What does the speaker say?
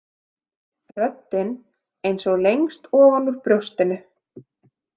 Röddin eins og lengst ofan úr brjóstinu.